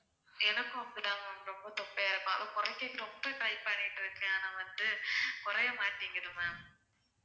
எனக்கும் அப்படி தான் ma'am ரொம்ப தொப்பையா இருக்கும் ஆனா குறைக்க ரொம்ப try பண்ணிட்டு இருக்கேன் நான் வந்து குறைய மாட்டேங்குது ma'am